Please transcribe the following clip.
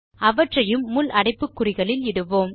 அவற்றையும் முள் அடைப்புக்குறிகளில் இடுவோம்